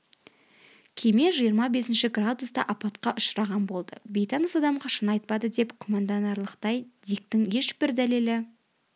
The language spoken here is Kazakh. кеме жиырма бесінші градуста апатқа ұшыраған болды бейтаныс адамға шын айтпады деп күмәнданарлықтай диктің ешбір дәлелі